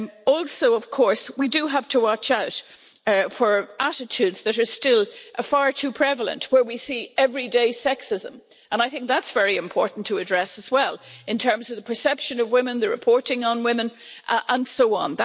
Also, of course, we do have to watch out for attitudes that are still far too prevalent, where we see everyday sexism. That's very important to address as well, in terms of the perception of women, the reporting on women, and so on.